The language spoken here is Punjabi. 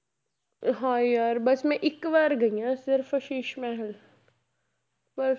ਹਾਏ ਯਾਰ ਬਸ ਮੈਂ ਇੱਕ ਵਾਰ ਗਈ ਹਾਂ ਸਿਰਫ਼ ਸ਼ੀਸ਼ ਮਹਿਲ